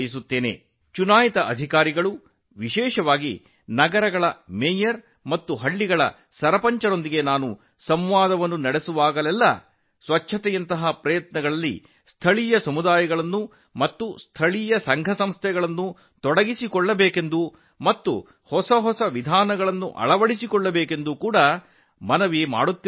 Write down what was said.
ನಾನು ಚುನಾಯಿತ ಪ್ರತಿನಿಧಿಗಳೊಂದಿಗೆ ವಿಶೇಷವಾಗಿ ನಗರಗಳ ಮೇಯರ್ಗಳು ಮತ್ತು ಗ್ರಾಮಗಳ ಸರಪಂಚರೊಂದಿಗೆ ಸಂವಾದ ನಡೆಸಿದಾಗ ಸ್ಥಳೀಯ ಸಮುದಾಯಗಳು ಮತ್ತು ಸ್ಥಳೀಯ ಸಂಸ್ಥೆಗಳನ್ನು ಸ್ವಚ್ಛತೆಯಂತಹ ಪ್ರಯತ್ನಗಳಲ್ಲಿ ಸೇರಿಸಿಕೊಳ್ಳುವಂತೆ ಮತ್ತು ನವೀನ ವಿಧಾನಗಳನ್ನು ಅಳವಡಿಸಿಕೊಳ್ಳುವಂತೆ ಅವರನ್ನು ಒತ್ತಾಯಿಸುತ್ತೇನೆ